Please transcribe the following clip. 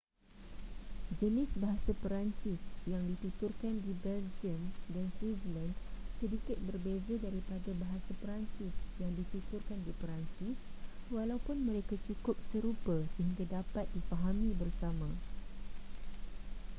jenis bahasa perancis yang dituturkan di belgium dan switzerland sedikit berbeza daripada bahasa perancis yang dituturkan di perancis walaupun mereka cukup serupa sehingga dapat difahami bersama